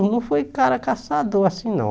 Não não fui cara caçador assim, não.